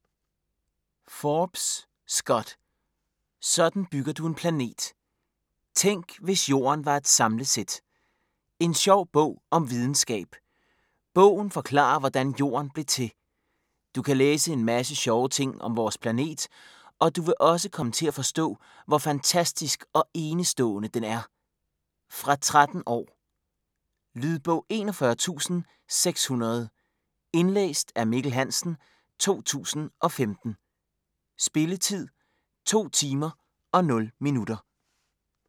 Forbes, Scott: Sådan bygger du en planet: tænk, hvis Jorden var et samlesæt En sjov bog om videnskab. Bogen forklarer hvordan jorden blev til. Du kan læse en masse sjove ting om vores planet, og du vil også komme til at forstå, hvor fantastisk og enestående den er. Fra 13 år. Lydbog 41600 Indlæst af Mikkel Hansen, 2015. Spilletid: 2 timer, 0 minutter.